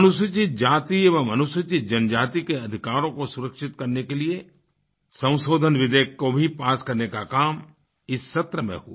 अनुसूचित जाति एवं अनुसूचित जनजाति के अधिकारों को सुरक्षित करने के लिए संशोधन विधेयक को भी पास करने का काम इस सत्र में हुआ